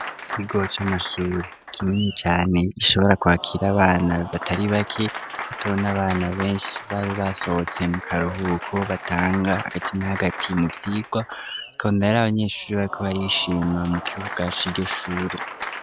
Ikigo c'amashure kinini cane gishobora kwakira abana batari bake bato n'abana benshi bari basohotse mu karuhuko, batanga hagati na hagati mu vyigwa ukabona ari abanyeshure bariko barishima mu kibuga c'iryo shure.